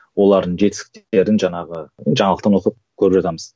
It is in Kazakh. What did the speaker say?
олардың жетістіктерін жаңағы жаңалықтан оқып көріп жатамыз